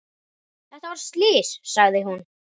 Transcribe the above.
Þetta var slys, sagði hún.